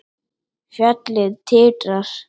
Fjallið titrar.